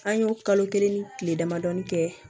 An y'o kalo kelen ni tile damadɔɔni kɛ